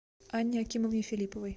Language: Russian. анне акимовне филипповой